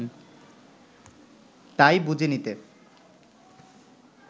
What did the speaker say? তাই বুঝে নিতে